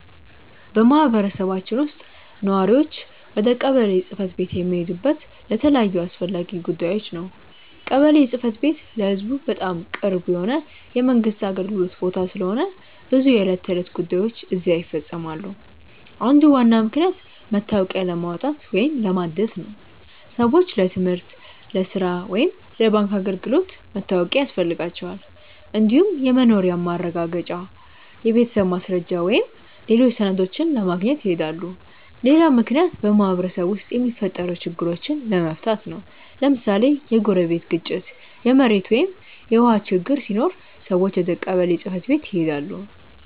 በማህበረሰባችን ውስጥ ነዋሪዎች ወደ ቀበሌ ጽ/ቤት የሚሄዱት ለተለያዩ አስፈላጊ ጉዳዮች ነው። ቀበሌ ጽ/ቤት ለህዝቡ በጣም ቅርብ የሆነ የመንግስት አገልግሎት ቦታ ስለሆነ ብዙ የዕለት ተዕለት ጉዳዮች እዚያ ይፈፀማሉ። አንዱ ዋና ምክንያት መታወቂያ ለማውጣት ወይም ለማደስ ነው። ሰዎች ለትምህርት፣ ለሥራ ወይም ለባንክ አገልግሎት መታወቂያ ያስፈልጋቸዋል። እንዲሁም የመኖሪያ ማረጋገጫ፣ የቤተሰብ ማስረጃ ወይም ሌሎች ሰነዶችን ለማግኘት ይሄዳሉ። ሌላ ምክንያት በማህበረሰቡ ውስጥ የሚፈጠሩ ችግሮችን ለመፍታት ነው። ለምሳሌ የጎረቤት ግጭት፣ የመሬት ወይም የውሃ ችግር ሲኖር ሰዎች ወደ ቀበሌ ጽ/ቤት ይሄዳሉ።